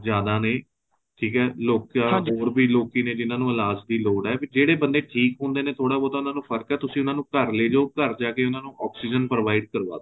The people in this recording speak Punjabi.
ਜਿਆਦਾ ਨੇ ਠੀਕ ਏ ਲੋਕਾਂ ਹੋਰ ਵੀ ਲੋਕੀ ਨੇ ਜਿਹਨਾ ਨੂੰ ਇਲਾਜ ਦੀ ਲੋੜ ਏ ਵੀ ਜਿਹੜੇ ਬੰਦੇ ਠੀਕ ਹੁੰਦੇ ਨੇ ਥੋੜਾ ਬਹੁਤ ਫ਼ਰਕ ਏ ਤੁਸੀਂ ਉਹਨਾ ਨੂੰ ਘਰ ਲੈਜੋ ਘਰ ਜਾਕੇ ਉਹਨਾ ਨੂੰ oxygen provide ਕਰਵਾਦੋ